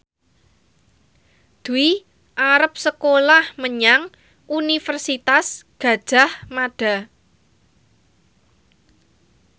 Dwi arep sekolah menyang Universitas Gadjah Mada